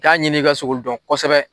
Taa ɲini i ka se k'olu dɔn kosɛbɛ